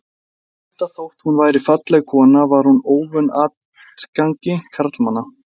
Enda þótt hún væri falleg kona var hún óvön atgangi karlmanna.